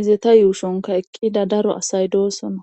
izeta yuushonka eqqida daro asay doosono